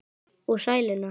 Og sæluna.